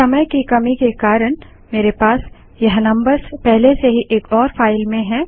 समय की कमी के कारण मेरे पास यह नम्बर्स पहले से ही एक और फाइल में हैं